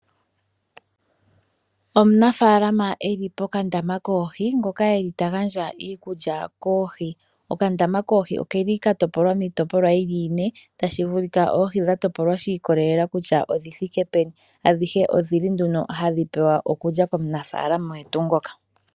Omunafaalama eli pokandama koohi ngoka eli tagandja iikulya koohi. Okandama koohi oka topolwa miitopolwa yili ine . Tashi vulika oohi dhili dha topolwa kutya odhi thike peni. Adhihe odhili hadhi pewa iikulya komunafaalama ngoka.